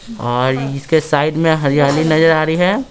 इस तस्वीर में एक रेस्टोरेंट नजर आ रहा है।